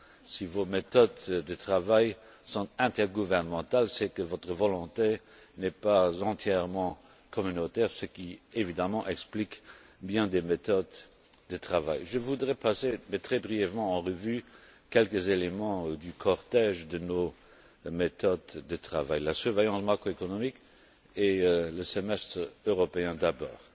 Si vos méthodes de travail sont intergouvernementales, c'est que votre volonté n'est pas entièrement communautaire, ce qui évidemment explique bien des méthodes de travail. Je voudrais passer, mais très brièvement, en revue quelques éléments du cortège de nos méthodes de travail la surveillance macroéconomique et le semestre européen d'abord.